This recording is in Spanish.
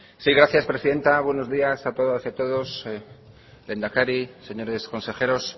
sí gracias presidenta buenos días a todas y a todos lehendakari señores consejeros